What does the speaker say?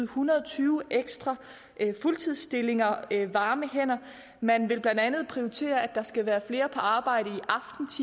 hundrede og tyve ekstra fuldtidsstillinger varme hænder man vil blandt andet prioritere at der skal være flere på arbejde